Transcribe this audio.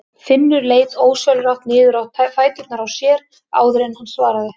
Finnur leit ósjálfrátt niður á fæturna á sér áður en hann svaraði.